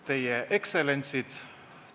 Teie ekstsellentsid!